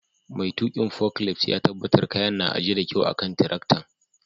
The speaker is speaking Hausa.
Mai tukin foklift ya tabatar kayan na ajie da kyau a'kan tiraktan.